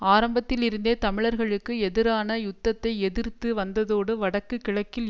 ஆரம்பத்தில் இருந்தே தமிழர்களுக்கு எதிரான யுத்தத்தை எதிர்த்து வந்ததோடு வடக்குக் கிழக்கில்